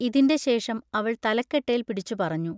ഇതിന്റെ ശേഷം അവൾ തലക്കെട്ടേൽ പിടിച്ചു പറഞ്ഞു.